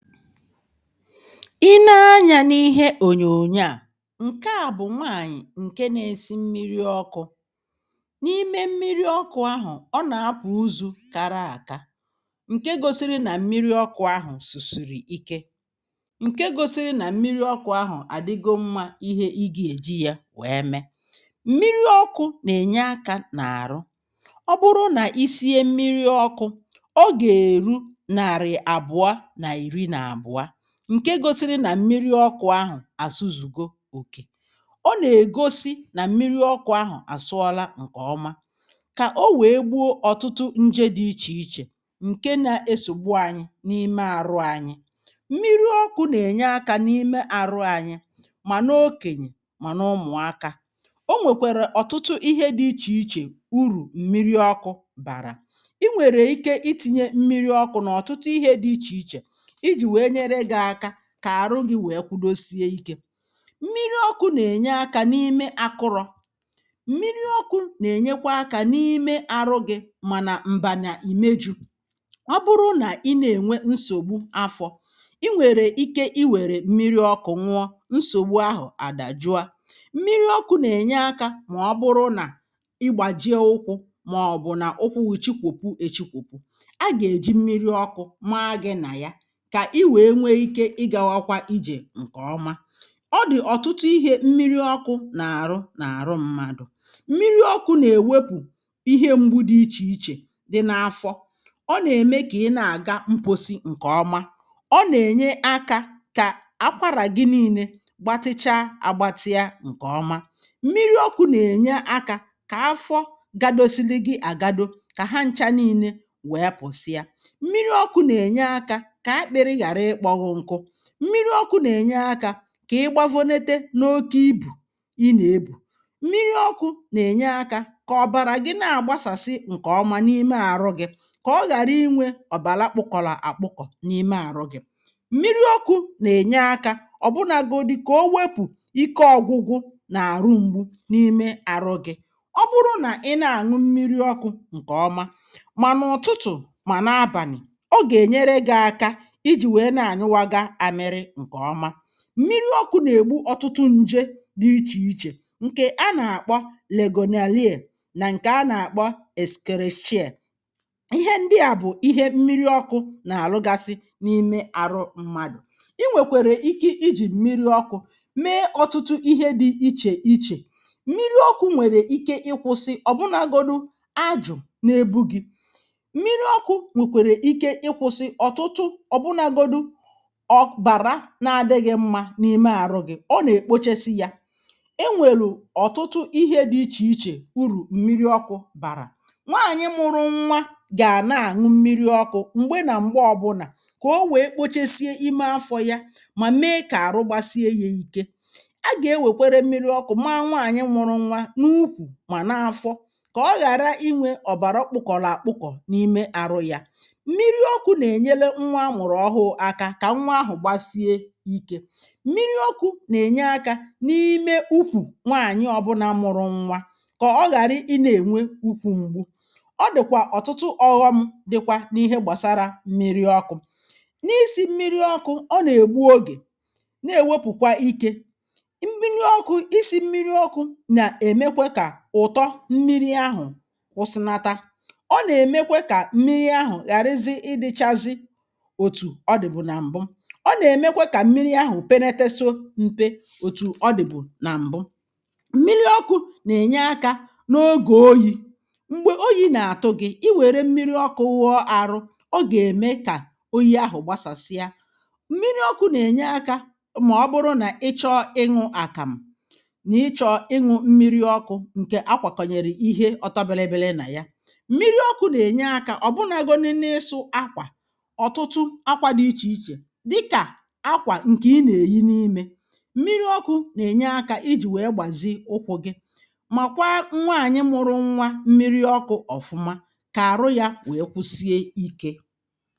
i nee anyā n’ihe ònyònyo à ǹke à bụ̀ nwaànyị̀ ǹke nā-ēsī mmiri ọkụ̄ n’ime mmiri ọkụ̄ āhụ̀ ọ nà-apụ̀ uzū kara àka, ǹke gōsīrī nà mmiri ọkụ̄ āhụ̀ sùsùrù ike, ǹke gōsīrī nà mmiri ọkụ̄ āhụ̀ àdịgo mmā ihe ị gà-èji yā nwèe mee mmiri ọkụ̄ nà-ènye akā nà àrụ ọ bụrụ nà i sie mmiri ọkụ̄ ọ gà-èru nàrị̀ àbụ̀a nà ìri nà àbụ̀a, ǹke gōsīrī nà mmiri ọkụ̄ āhụ̀ àsụzùgo òkè ọ nà-ègosi nà mmiri ọkụ̄ āhụ̀ àsụọla ǹkè ọma kà ọ nwèe gbuo ọ̀tụtụ njē dị̄ ichè ichè ǹke nā-esògbu ānyị̄ n’ime àrụ ānyị̄ mmiri ọkụ̄ nà-ènye akā n’ime àrụ ānyị̄ mà n’okènyè mà n’ụmụ̀akā o nwèkwèrè ọ̀tụtụ ihe dị̄ ichè ichè urù mmiri ọkụ̄ bàrà i nwèrè ike itīnyē mmiri ọkụ̄ n’ọ̀tụtụ ihe dị̄ ichè ichè ijì nwèe nyere gị̄ ākā kà àrụ gị̄ nwèe kudosie ikē. mmiri ọkụ̄ nà ènye akā n’ime ākụ̄rụ̀ mmiri ọkụ̄ nà-ènyèkwa akā n’ime ārụ̄ gị̀ mà nà m̀bànà ìmejū, ọ bụrụ nà ị nà-ènwe nsògbu afọ̄ i nwèrè ike iwèrè mmiri ọkụ̄ ñụọ nsògbu ahụ̀ àdàjụa mmiri ọkụ̄ nà-ènye akā mà ọ bụrụ nà ị gbàjie ụkwụ̄ màọ̀bụ̀ nà ụkwụ gị̄ chikwòkwu èchikwòkwu, a gà-èji mmiri ọkụ̄ maa gị̄ nà ya kà i nwèe nwe ikē ịgāwākwā ījè ǹkè ọma. ọ dị̀ ọ̀tụtụ ihē mmiri ọkụ̄ nà-àrụ n’àrụ m̄mādụ̀ mmiri ọkụ̄ nà-èwepù ihe m̄gbū dị̀ ichè ichè dị n’afọ ọ nà-ème kà ị na-àga mkposi ǹkè ọma ọ nà-ènye akā kà akwarà gị niīnē gbatịcha àgbatịa ǹkè ọma mmiri ọkụ̄ nà-ènye akā kà afọ gādōsīlī gị̄ àgado kà ha n̄chā niīnē wèe pụ̀sịa mmiri ọkụ̄ nà-ènye akā kà akpị̀rị ghàrị ịkpọ̄ gị̄ n̄kụ̄ mmiri ọkụ̄ nà-ènye akā kà ị gbavonete n’oke ibù ị nà-ebù, mmiri ọkụ̄ nà-ènye akā kà ọ̀bàrà gị na àgbasàsị ǹkè ọma n’ime àrụ gị̄ kà ọ ghàri inwē ọ̀bàra kpụkọ̀lọ̀ àkpụkọ̀ n’ime ārụ̄ gị̀ mmiri ọkụ̄ nà-ènye akā ọ̀bụnāgōdī kà o wepù ike ọ̄gụ̄gụ̄ n’àrụ m̄gbū n’ime àrụ gị̄ ọ bụrụ nà ị na-àñụ mmiri ọkụ̄ ǹkè ọma mà n’ụ̀tụtụ̀ mà n’abànị̀ ọ gà-ènyere gị̄ ākā ijì nwèe na-ànyụwaga àmịrị ǹkè ọma mmiri ọkụ̄ nà ègbu ọ̀tụtụ njē dị̄ ichè ichè ǹkè a nà-àkpọ legonalie nà ǹkè a nà-àkpọ eskerechie ihe ndị à bụ̀ ihe mmiri ọkụ̄ nà-àlụgasị n’ime àrụ m̄mādụ̀ i nwèkwèrè ike ijì mmiri ọkụ̄ mee ọ̀tụtụ ihe dị̄ ichè ichè mmiri ọkụ̄ nwèrè ike ịkụ̄sị̄ ọ̀bụnāgōdī ajụ̀ na-ebu gī mmiri ọkụ̄ nwèkwèrè ike ịkụ̄sị̄ ọ̀tụtụ ọ̀bụnāgōdī ọ̀bàra na-adị̄ghị̄ mmā n’ime àrụ gị̄ ọ nà èkpochesị yā enwèrù ọ̀tụtụ ihe dị̄ ichè ichè urù mmiri ọkụ̄ bàrà nwaànyị mụ̄rụ̄ n̄wā gà na-àñụ mmiri ọkụ̄ m̀gbe nà m̀gbe ọ̄bụ̄nà kà o nwèe kpochesie ime afọ̄ yā mà mee kà àrụ gbasie yā īkē a gà-enwèkwere mmiri ọkụ̄ maā nwaànyị mụ̄rụ̄ n̄wā n’ukwù mà n’afọ kà ọ ghàra inwē ọ̀bàra kpụkọ̀lọ̀ àkpụkọ̀ n’ime ārụ̄ yà mmiri ọkụ̄ nà-ènyele nwa amụ̀rụ̀ ọhụụ̄ ākā ka nwa ahụ̀ gbasie ikē mmiri ọkụ̄ nà-ènye akā n’ime ukwù nwaànyị ọ̄bụ̄nā mụrụ nwa kà ọ ghàrị ịnā ènwe ukwū m̀gbù ọ dị̀kwà ọ̀tụtụ ọ̄gọ̄m̄ dịkwa n’ihe gbàsara mmiri ọkụ̄ n’isī mmiri ọkụ̄ ọ nà ègbu ogè na-èwepùkwa ikē mmiri ọkụ̄ isī mmiri ọkụ̄ nà-èmekwe kà ụ̀tọ mmiri ahụ̀ kụsịnata ọ nà-èmekwe kà mmiri ahụ̀ ghàrịzị ịdị̄chāzị̄ òtù ọ dị̀bụ̀ nà m̀bụ ọ nà-èmekwe kà mmiri ahụ̀ penetetu m̄pē òtù ọ dị̀bụ̀ nà m̀bụ mmiri ọkụ̄ nà-ènye akā n’ogè oyī m̀gbè oyī nà-àtụ gị̄ i wèrè mmiri ọkụ̄ wụọ ārụ̄ ọ gà-ème kà oyi ahụ̀ gbasàsịa mmiri ọkụ̄ nà-ènye akā mà ọ bụrụ nà ị chọọ ịñụ̄ àkàmụ̀ nà ị chọọ̀ ịñụ̄ mmiri ọkụ̄ ǹkè akwàkọ̀nyèrè ihe ọ̀tọ bị̄lị̄bị̄lị̄ nà ya mmiri ọkụ̄ nà-ènye akā ọ̀bụnāgōdī n’ịsụ̄ ākwà ọ̀tụtụ akwā dị̄ ichè ichè dịkà akwà ǹkè ị nà-èyi n'imē mmiri ọkụ̄ nà-ènye akā ijì nwèe gbàzi ụkwụ̄ gị̄ maàkwa nwaànyị mụ̄rụ̄ n̄wā mmiri ọkụ̄ ọ̀fụma kà àrụ yā nwèe kusie ikē